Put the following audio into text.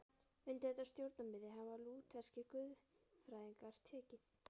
Undir þetta sjónarmið hafa lútherskir guðfræðingar tekið.